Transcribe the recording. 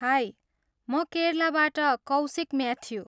High! म केरलाबाट Kaushik Matthew.